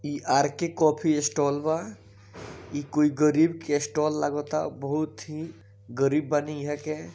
इ आर के कॉफ़ी स्टॉल बा इ कोई गरीब के स्टॉल लागाता बहुत ही गरीब बानी ईहाँ के--